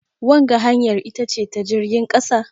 wanga hanyar ita ce ta jirgin kasa?